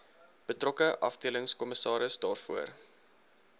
betrokke afdelingskommissaris daarvoor